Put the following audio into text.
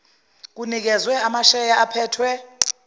kunikezwe amasheya aphethwe